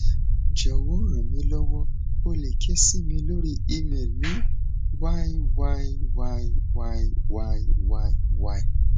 jọwọ ranmilowo o le ke si mi lori email ni yyyyyyyy